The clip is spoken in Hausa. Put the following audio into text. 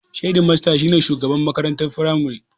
Hedimasta shi ne shugaban makarantar firamare.